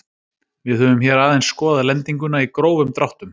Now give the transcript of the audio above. Við höfum hér aðeins skoðað lendinguna í grófum dráttum.